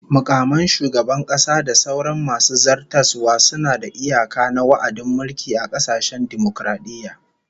Mukaman shugaban kasa da sauran masu zartaswa suna da iyaka na wa'adin mulki a kasashen dimokaradiyya